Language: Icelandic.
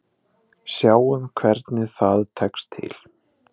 Sjáum hvernig það tekst til.